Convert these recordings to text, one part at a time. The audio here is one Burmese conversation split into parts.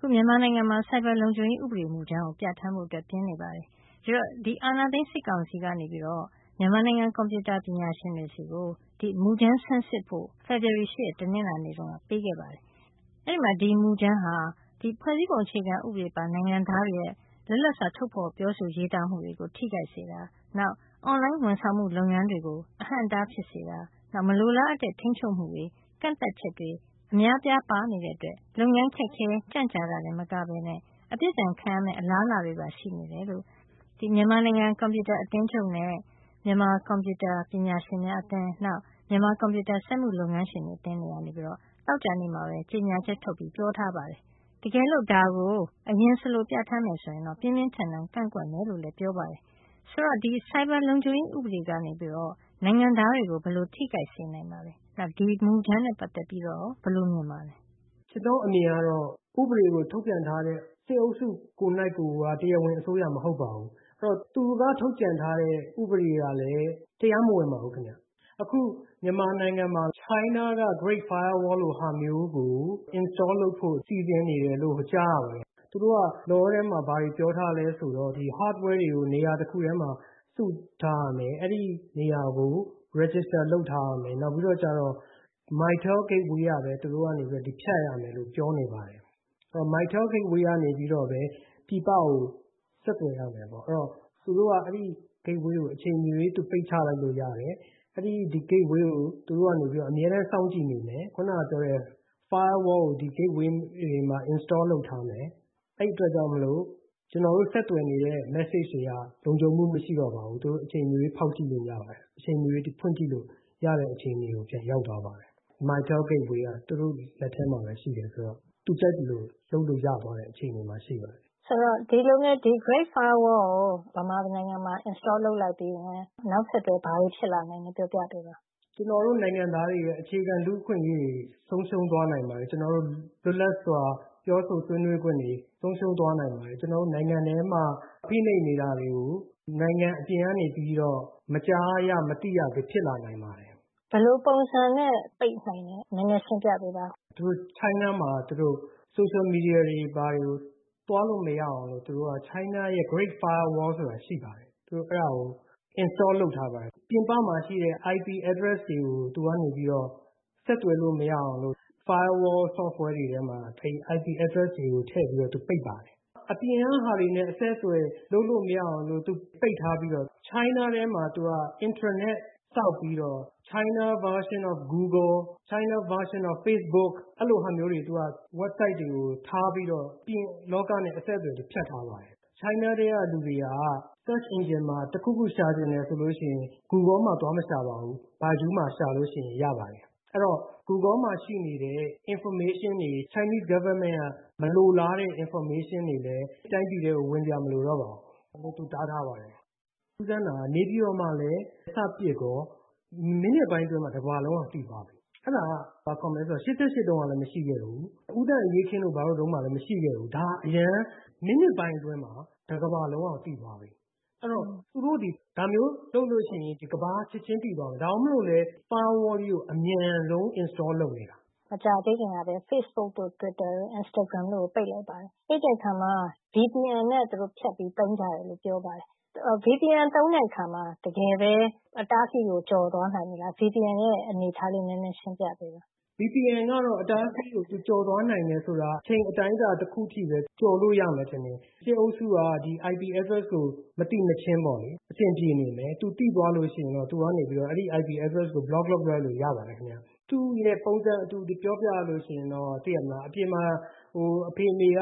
ခု မြန်မာနိုင်ငံမှာ Cyber လုံခြုံရေး ဥပအေမူကြမ်းကို ပြဌာန်းဖို့အတွက် ပြင်နေပါတယ်။ ဒီအာဏာသိမ်း စစ်ကောင်စီကနေပြီးတော့ မြန်မာနိုင်ငံ ကွန်ပြူတာပညာရှင်တွေဆီကို ဒီမူကြမ်းကို ဆန်းစစ်ဖို့ဖေဖော်ဝါရီလ ၈ ရက်က ပေးခဲ့ပါတယ်။ အဲဒီမှာ ဒီမူကြမ်းဟာ ဖွဲ့စည်းပုံအခြေခံဥပဒေပါ နိုင်ငံသားတွေရဲ့ လွတ်လပ်စွာပြောဆိုရေးသားမှုတွေကို ထိခိုက်စေတာ၊ နောက် online ဝန်ဆောင်မှု လုပ်ငန်းတွေကို အဟန့်အတား ဖြစ်စေတာ၊ မလိုအားအပ်တဲ့ ထိန်းချုပ်မှုတွေ အများအပြားပါနေတဲ့အတွက် လုပ်ငန်းတွေ ခက်ခဲ ကြန့်ကြာတာတင် မကပဲနဲ့ အပြစ်ဒဏ်ခံရမယ့် အလားအလာတွေပါရှိနေတယ်လို့ မြန်မာနိုင်ငံကွန်ပြူတာအသင်းချုပ်နဲ့ မြန်မာကွန်ပြူတာပညာရှင်များအသင်း၊ နောက်ပြီးတော့ မြန်မာကွန်ပြူတာ စက်မှုလုပ်ငန်းရှင်တွေအသင်းတွေကနေပြီးတော့ သောကြာနေ့မှာပဲ ကြေညာချက်ထုတ်ပြီး ပြောထားပါတယ်။ တကယ်လို့ဒါကိုအလျှင် ပြဌာန်းမယ်ဆိုရင်တော့ ပြင်းပြင်းထန်ထန်ကန့်ကွက်မယ်ဆိုပြီးတော့လည်း ပြောထားပါတယ်။ ဆိုတော့ ဒီ Cyber လုပ်ခြုံရေး ဥပဒေကနေပြီးတော့ နိုင်ငံသားတွေကို ဘယ်လို မျိုးထိခိုက်စေနိုင်ပါသလဲ။ နောက်ပြီး ဒီ မူကြမ်းနဲ့ပက်သက်ပြီးတော့ရော ဘယ်လို မြင်ပါလဲ။ ကျနော့် အမြင်အရတော့ ဥပဒေကို ထုတ်ပြန်ထားတဲ့ စစ်အုပ်စုကိုယ်တိုင်ကိုယ်က တရားဝင်အစိုးရ မဟုတ်ပါဘူး။ အဲဒီတော့ သူက ထုတ်ပြန်ထားတဲ့ ဥပဒေကလည်း တရားမဝင်ပါဘူးခင်ဗျ။ အခုမြန်မာနိုင်မှာ China က Great Firewall လိုဟာမျိုးကို install လုပ်ဖို့စီစဉ်နေတယ်လို့ ကြားရပါတယ်။ သူတို့က Law ထဲမှာ ဘာတွေကို ပြောထားလဲဆိုတော့ Hardware ကို နေရာတခုထဲမှာ စုပြီးတော့ ထားရမယ်။ အဲဒီနေရာကို register လုပ်ထားရမယ်။ နောက်ပြီးတော့ Mytel Gateway ကနေပြီးတော့ပဲ ဖြတ်ရမယ် လို့ပြောနေတယ်။ Mytel Gateway ကနေပြီးတော့ပဲ ပြည်ပကို ဆက်သွယ်ရမယ့်ပေါ့။ နောက်ပြီးတော့လည်း သူတို့က အဲဒီ Gateway ကို အချိန်မရွေး ပိတ်ချလိုက်လို့ရတယ်။ အဲဒီ Gateway ကို သူတို့ကနေပြီးတော့ အမြဲတမ်းစောင့်ကြည့်နေမယ်။ ခုနကပြောတဲ့ Firewall ကို ဒီ Gateway တွေမှာ install လုပ်ထားမယ်။ အဲဒီအတွက်ကြောင့်မို့လို့ ကျနော်တို့ ဆက်သွယ်နေတဲ့ message တွေဟာ လုံခြုံမှု မရှိတော့ဘူး။ သူတို့အချိန်မရွေးဖောက်ကြည့်လို့ရပါတယ်။ သူတို့အချိန်မရွေးဖွင့်ကြည့်လို့ရတဲ့ အခြေအနေကို ပြန်ရောက်သွားပါတယ်။ Mytel Gateway ကသူတို့လက်ထဲမှာပဲ ရှိတယ်ဆိုတော့ သူတို့ကြိုက်သလို လုပ်လို့ရသွားတဲ့ အခြေအနေမှာရှိပါတယ်။ Great Firewall ကို မြန်မာနိုင်ငံမှာ install လုပ်လိုက်ပြီးရင် နောက်ဆက်တွဲ ဘာတွေဖြစ်လာနိုင်လဲ ပြောပြပေးပါလား။ ကျနော်တို့မြန်မာနိုင်ငံသားတွေရဲ့ အခြေခံ လူ့အခွင့်အရေးတွေ ဆုံးရှုံးသွားနိုင်ပါတယ်။ ကျနော်တို့ရဲ့ လွတ်လပ်စွာ ပြောဆိုဆွေးနွေးခွင့်တွေ ဆုံးရှုံးသွားနိုင်ပါတယ်။ ကျနော်တို့နိုင်ငံထဲမှာ ဖိနှိပ်နေတာတွေကို နိုင်ငံအပြင်ကနေပြီး မကြားရ၊ မသိရတာတွေ ဖြစ်လာနိုင်ပါတယ်။ ဘယ်လိုပုံစံနဲ့ပိတ်နိုင်သလဲ နည်းနည်းရှင်းပြပေးပါဦး။ China မှာ Social Media တွေ ဘာတွေကို သွားလို့မရအောင်လို့ သူတို့Great Firewall ဆိုတာ ရှိပါတယ်။ သူတို့အဲဒါကို install လုပ်ထားပါတယ်။ ပြင်ပမှာရှိတဲ့ IP address တွေကို သူကနေပြီးတော့ ဆက်သွယ်လို့မရအောင်ဆိုပြီး Firewall Software တွေထဲမှာ IP address တွေထည့်ပြီး သူတို့ပိတ်ပါတယ်။ အပြင်က ဟာတွေနဲ့သူတို့အဆက်အသွယ်လုပ်လို့မရအောင်ပိတ်ထားပြီးတော့ China ထဲမှာ သူတို့ Intranet ဆောက်ပြီးတော့ Chinese Version of Google, Chinese Version of Facebook အဲလိုဟာမျိုးတွေ၊ Website တွေကို ထားပြီးတော့ အပြင်လောကနဲ့အဆက်အသွယ်တွေကို ဖြတ်ထားပါတယ်။ China ထဲကလူတွေဟာ Search Engine မှာ တခုခုသူတို့ရှာချင်တယ်ဆိုလို့ရှိရင် Google မှာ သွားမရှာပါဘူး။ Baidu မှာရှာရင် ရပါတယ်။ အဲဒီတော့ Google မှာရှိနေတဲ့ information တွေ၊ Chinese Government က မလိုလားတဲ့ information တွေလည်း တိုင်းပြည်ထဲကို ဝင်စရာမလိုတော့ပါဘူး။ သူ့ဟာသူ တားထားပါတယ်။ ထူးဆန်းတာက နေပြည်တော်မှာလည်း စပစ်ကော မိနစ်ပိုင်းအတွင်းမှာ တကမ္ဘာလုံးက သိသွားပြီ။ အဲဒါက ဘာခေါ်မလဲဆိုတော့ ၈၈ တုန်းကလည်းမရှိခဲ့ဘူး။ ဦးသန့်အရေးအခင်းတို့ဘာတို့မှာလည်း မရှိခဲ့ဘူး။ ဒါ အရမ်းပဲ။ မိနစ်ပိုင်းအတွင်းမှာ တကမ္ဘာလုံးက သိသွားပြီ။ အဲဒီတော့ သူတို့သည် ဒါမျိုးလုပ်လို့ရှိရင်တော့ ကမ္ဘာက ချက်ချင်းသိသွားမယ်။ ဒါကြောင့် Firewall ကြီးကို အမြန်ဆုံး install လုပ်နေတာ။ မကြာသေးခင်ကပဲ Facebook တို့၊ Instagram တို့၊ Twitter တို့ကို ပိတ်လိုက်ပါတယ်။ ပိတ်ပြီးတဲ့အခါမှာ VPN နဲ့သူတို့ ဖြတ်ပြီးသုံးကြတယ်။ VPN သုံးတဲ့ အခါမှာ တကယ်ပဲ သူတို့က အတားအဆီးကို ကျော်သွားနိုင်လား။ VPN ရဲ့ အနေအထားလေး နည်းနည်းရှင်းပြပေးပါ။ VPN က အတားအဆီးကို ကျော်သွားနိုင်တယ်ဆိုတာ အချိန်အတိုင်းအတာ အနည်းငယ်ပဲ ကျော်သွားလို့ရမယ်ထင်ပါတယ်။ စစ်အုပ်စုက ဒီ IP address ကို မသိမချင်းပေါ့လေ။ သူသိသွားလို့ရှိရင်တော့ အဲဒီ IP address ကို ဘလော့ လုပ်လိုက်လို့ရပါတယ်ခင်ဗျ။ သူ့ရဲ့ ပုံစံအတူတွေပြောပြရလို့ရှိရင်တော့ သိတယ်မဟုတ်လား အပြင်မှာ အဖေအမေက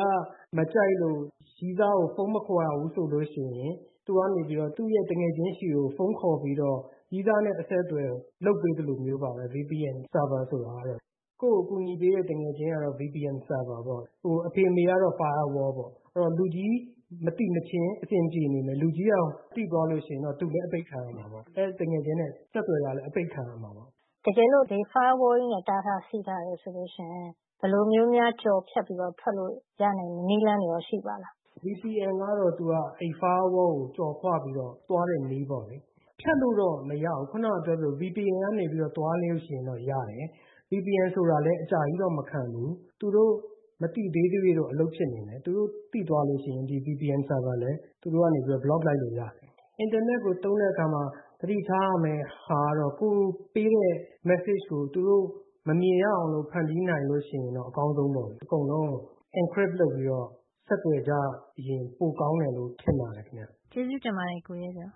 မကြိုက်လို့ရည်းစားကို ဖုန်းမခေါ်ရဘူးဆိုလို့ရှိရင် သူကနေပြီးတော့ သူ့ရဲ့ သူငယ်ချင်းဆီကို ဖုန်းခေါ်ပြီးတော့ ရည်းစားနဲ့အဆက်သွယ်လုပ်ပေးသလိုမျိုးပါပဲ VPN Server ဆိုတာကလေ။ ကိုယ့်ကို အကူအညီပေးတဲ့ သူငယ်ချင်းကတော့ VPN Server ပေါ့။ အဖေအမေကတော့ Firewall ပေါ့။ အဲဒီတော့ လူကြီးမသိမချင်း အဆင်ပြေနေမယ်၊ လူကြီး သိသွားလို့ ရှိရင်တော့ သူလည်း အပိတ်ခံရမှာပေါ့။ သူ့ သူငယ်ချင်းနဲ့ ဆက်သွယ်နေတာလည်း အပိတ်ခံရမှာပေါ့။ တကယ်လို့ ဒီ Firewall ကြီးနဲ့ တားထားဆီးထားတယ် ဆိုလို့ရှိရင် ဘယ်လိုမျိုး ကျော်ဖြတ်ပြီးတော့ ထွက်လို့ရနိုင်မယ့် နည်းလမ်းရော ရှိပါသလား။ VPN ကတော့သူက အဲဒီ Firewall ကို ကျော်ခွပြီးတော့ သွားတဲ့နည်းပေါ့လေ။ ဖြတ်လို့တော့မရဘူး ခုနက ပြောသလို VPN ကနေ သွားလို့ရှိရင်ရတယ်။ VPN ဆိုတာလည်း အကြာကြီးတော့ မခံဘူး။ သူတို့ မသိသေးသ၍တော့ အလုပ်ဖြစ်နေမယ်၊ သူတို့ သိသွားလို့ရှိရင် ဒီ VPN ဆာဗာလည်း သူတို့က ပိတ်လိုက်လို့ရတယ်။ အင်တာနက်ကို သုံးတဲ့အခါမှာ သတိထားရမယ့်ဟာကတော့ ကိုယ်ပေးတဲ့ message ကို သူတို့မမြင်ရအောင်လို့ ဖန်တီးနိုင်လို့ရှိရင်တော့ အကောင်းဆုံးပေ့ါလေ။ အကုန်လုံးကို Encrypt လုပ်ပြီးတော့ ဆက်သွယ်ကြရင် ပိုကောင်းတယ်လို့ ထင်ပါတယ်ခင်ဗျာ။ ကျေးဇူးတင်ပါတယ် ကိုရဲကျော်